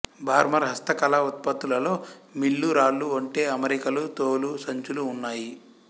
బార్మర్ హస్తకళ ఉత్పత్తులలో మిల్లు రాళ్ళు ఒంటె అమరికలు తోలు సంచులు ఉన్నాయి